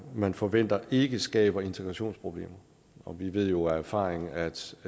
man forventer ikke skaber integrationsproblemer og vi ved jo af erfaring at